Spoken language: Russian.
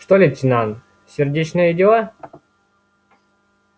что лейтенант сердечные дела